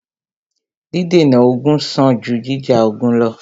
Dídènà ogun sàn jù jíjà ogun lọ́.